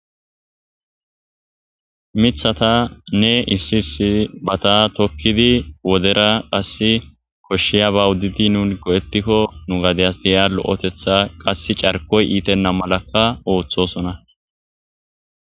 mithata ne issisi bata tokkidi wodera qasse koshshiya ba wuddidi nunko ettikko nu gadeyas deya lo7etetha qass carkoy iitenna malakka ooththosona